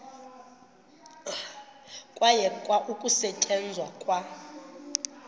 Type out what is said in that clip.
kwayekwa ukusetyenzwa kwa